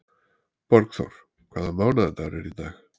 Borgþór, hvaða mánaðardagur er í dag?